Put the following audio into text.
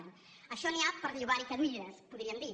d’això n’hi ha per llogarhi cadires podríem dir